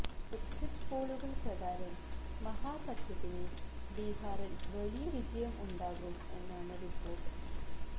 exit പോളുകൾ പ്രകാരം മഹാസഖ്യത്തിന് ബീഹാറിൽ വലിയ വിജയം ഉണ്ടാകും എന്നാണ് റിപ്പോർട്ട്